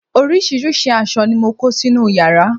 oríṣiríṣi aṣọ ni mo kó sínú yàrá